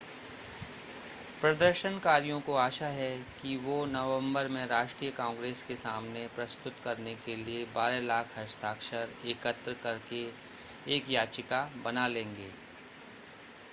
प्रदर्शनकारियों को आशा है कि वो नवंबर में राष्ट्रीय कांग्रेस के सामने प्रस्तुत करने के लिए 12 लाख हस्ताक्षर एकत्र करके एक याचिका बना लेंगे